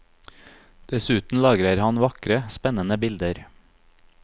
Dessuten lager han vakre, spennende bilder.